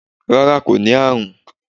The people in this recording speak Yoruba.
rara ko ni arun